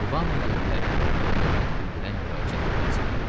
Vana yerlilərin dilində hörmət bildirən müraciət forması idi.